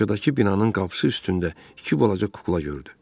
Qarşıdakı binanın qapısı üstündə iki balaca kukla gördü.